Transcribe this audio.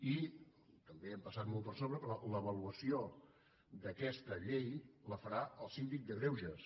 i també hi hem passat molt per sobre però l’avaluació d’aquesta llei la farà el síndic de greuges